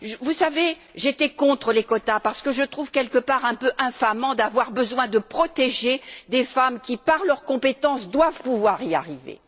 Vous savez, j'étais contre les quotas parce que je trouve quelque part un peu infâmant d'avoir besoin de protéger des femmes qui, par leurs compétences, doivent pouvoir y arriver.